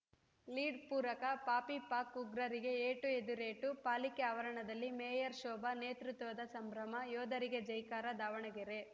lead ಪೂರಕ ಪಾಪಿ ಪಾಕ್‌ ಉಗ್ರರಿಗೆ ಏಟು ಎದಿರೇಟು ಪಾಲಿಕೆ ಆವರಣದಲ್ಲಿ ಮೇಯರ್‌ ಶೋಭಾ ನೇತೃತ್ವ ಸಂಭ್ರಮ ಯೋಧರಿಗೆ ಜೈಕಾರ ದಾವಣಗೆರೆ